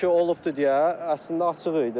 Belə bir şey olubdur deyə əslində açıq idi.